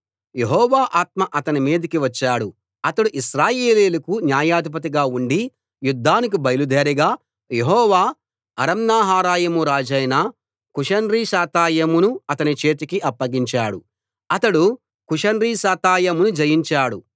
యెహోవా ఆత్మ అతని మీదికి వచ్చాడు అతడు ఇశ్రాయేలీయులకు న్యాయాధిపతిగా ఉండి యుద్ధానికి బయలుదేరగా యెహోవా అరామ్నహరాయిము రాజైన కూషన్రిషాతాయిమును అతని చేతికి అప్పగించాడు అతడు కూషన్రిషాతాయిమును జయించాడు